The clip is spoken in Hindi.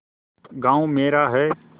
गॉँव मेरा है